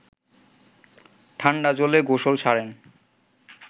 ঠান্ডা জলে গোসল সারেন